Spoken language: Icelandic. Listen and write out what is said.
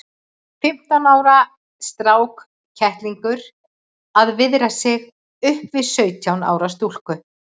Fimmtán ára strákkettlingur að viðra sig upp við sautján ára stúlku!